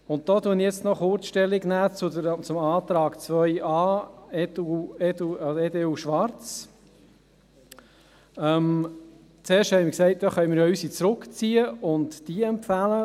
Ich nehme hier noch kurz Stellung zum Antrag 2.a, EDU/Schwarz: Zuerst sagten wir, wir könnten unsere Planungserklärung zurückziehen und diese empfehlen.